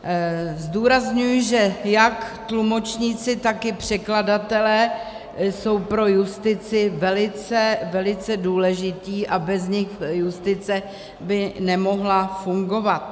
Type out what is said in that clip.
Zdůrazňuji, že jak tlumočníci, tak i překladatelé jsou pro justici velice, velice důležití a bez nich justice by nemohla fungovat.